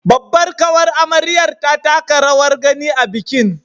Babbar ƙawar amaryar ta taka rawar gani a bikin